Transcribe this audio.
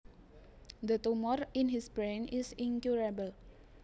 The tumor in his brain is incurable